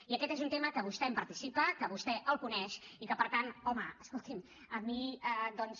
i aquest és un tema que vostè en participa que vostè el coneix i que per tant home escolti’m a mi doncs